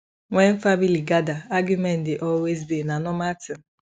wen family gada argument dey always dey na normal tin